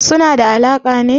Suna da alaƙa ne?